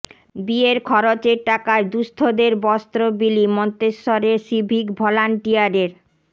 বিয়ের খরচের টাকায় দুঃস্থদের বস্ত্র বিলি মন্তেশ্বরের সিভিক ভলান্টিয়ারের